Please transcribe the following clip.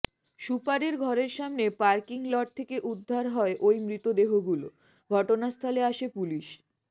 সুপারের ঘরের সামনে পার্কিং লট থেকে উদ্ধার হয় ওই মৃতদেহগুলো ঘটনাস্থলে আসে পুলিশ